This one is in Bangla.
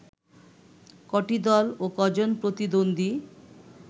কটি দল ও কজন প্রতিদ্বন্দ্বী